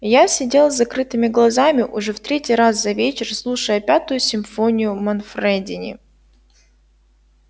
я сидел с закрытыми глазами уже в третий раз за вечер слушая пятую симфонию манфредини